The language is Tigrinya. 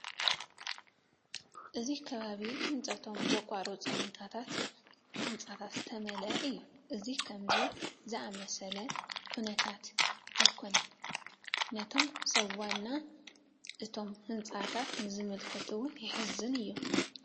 እዚ ከባቢ ህንፀቶም ብዝተቋረፁ ህንፃታት ዝተመልአ እዩ፡፡ እዚ ከምዚ ዝኣምሰለ ኩነታት ኣይኮነን ነቶም ሰብ ዋና እቶም ህንፃታት ንዝምልከት እውን የሕዝን እዩ፡፡